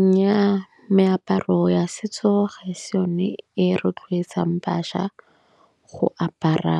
Nnyaa meaparo ya setso ga e se yone e rotloetsang bašwa go apara